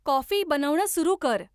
coffee बनवणं सुरू कर